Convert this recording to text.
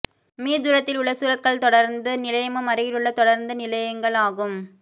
me தூரத்தில் உள்ள சூரத்கல் தொடருந்து நிலையமும் அருகிலுள்ள தொடருந்து நிலையங்கள் ஆகும்